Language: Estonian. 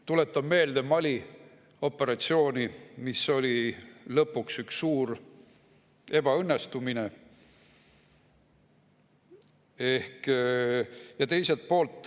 Tuletan meelde Mali operatsiooni, mis oli lõpuks üks suur ebaõnnestumine.